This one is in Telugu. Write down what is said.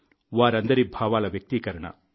వారందరి భావాల వ్యక్తీకరణ